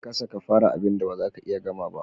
Kasa ka fara abinda bazaka iya gama ba.